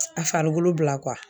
A farikolo bila